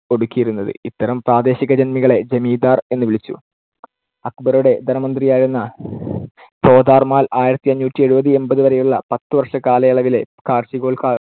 ഒടുക്കിയിരുന്നത്. ഇത്തരം പ്രാദേശികജന്മികളെ ജമീന്ദാർ എന്നു വിളിച്ചു. അക്ബറുടെ ധനമന്ത്രിയായിരുന്ന ടോഡർ മാൽ ആയിരത്തിഅഞ്ഞൂറ്റി എഴുപത് എൺപത് വരെയുള്ള പത്തുവർഷകാലയളവിലെ കാർഷികോ